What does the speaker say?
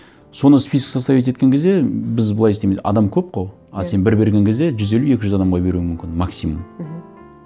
соны список составить еткен кезде біз былай істейміз адам көп қой иә а сен бір берген кезде жүз елу екі жүз адамға беруің мүмкін максимум мхм